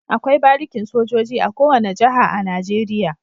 Akwai barikin sojoji a kowane jaha a nigeria